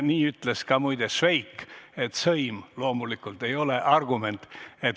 Nii ütles muide ka Švejk, et sõim ei ole loomulikult argument.